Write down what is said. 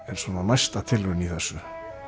er svona næsta tilraun í þessu og